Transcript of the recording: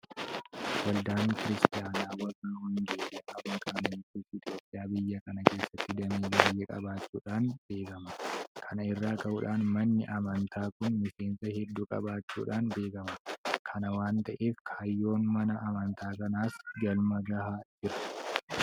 Waldaan kiristaanaa warra wangeelaa makaana yesuus Itoophiyaa biyya kana keessatti damee baay'ee qabaachuudhaan beekama. Kana irraa ka'uudhaan manni amantaa kun miseensa hedduu qabaachuudhaan beekama. Kana waanta ta'eef kaayyoon mana amantaa kanaas galma gahaa jira.